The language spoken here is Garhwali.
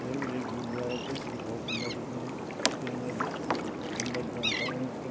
यख एक गुरुद्वारा च जो की बहौत सुन्दर दिख्याणु तिरंगा जन गुम्बद जन बणयुँ च।